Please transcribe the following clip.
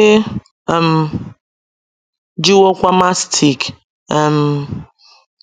E um jiwokwa mastic um